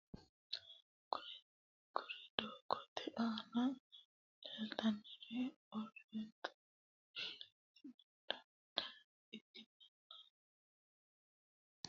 kuri dogote ana lelitanori oritodokisete amassine ikitana kurino babatitino udunuba ududhe ayanisa barra ayirrisanni affanitanoha ikana lelitanohuno quchumu gido afanitano.